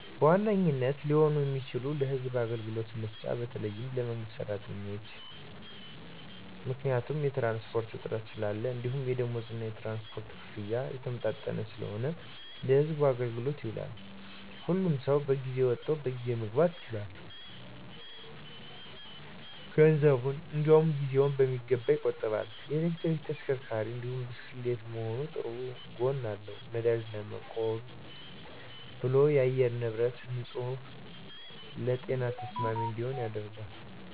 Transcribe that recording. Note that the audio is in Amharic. በዋነኝነት ሊሆን የሚችለው ለህዝብ አገልግሎት መስጫ ነው በተለይ ለመንግስት ሰራተኞች። ምክንያቱም የትራንስፖርት እጥረት ስላለ እንዲሁም የደምወዝ እና የትራንስፖርት ክፍያ የተመጣጠነ ስላልሆነ ለህዝብ አገልግሎት ይውላል። ሁሉም ሰው በጊዜ ወጥቶ በጊዜ መግባት ይችላል፣ ገንዘቡን እንዲውም ጊዜውን በሚገባ ይቆጥባል። የኤሌክትሪክ ተሽከርካሪ እንዲሁም ብስክሌት መሆኑ ጥሩ ጎን አለው ነዳጅ ለመቆብ ብሎም የአየር ንብረቶች ንፁህ ለጤና ተስማሚ እንዲሆኑ ያደርጋል።